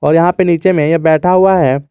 और यहां पे नीचे में एक बैठा हुआ है।